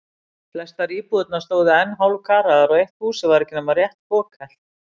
Flestar íbúðirnar stóðu enn hálfkaraðar og eitt húsið var ekki nema rétt fokhelt.